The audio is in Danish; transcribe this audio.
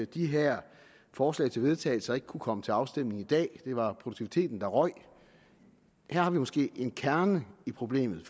de her forslag til vedtagelse ikke kunne komme til afstemning i dag det var produktiviteten der røg her har vi måske en kerne i problemet